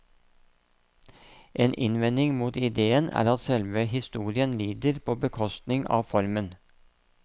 En innvending mot ideen er at selve historien lider på bekostning av formen.